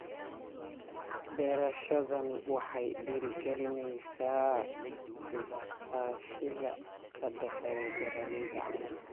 Beerashadani waxay dhiirigelinaysaa iskaashiga ka dhexeeya beeralayda caanaha.